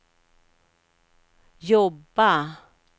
jobba